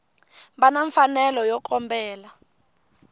va na mfanelo yo kombela